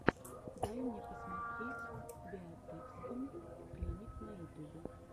дай мне посмотреть биотэкском клиник на ютубе